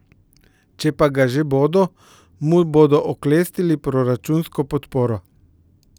Če pa ga že bodo, mu bodo oklestili proračunsko podporo.